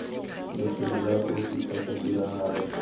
lefelo la kotsi kgotsa tiragalo